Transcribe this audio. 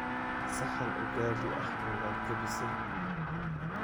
saxan ugali ah miyaad jabisay?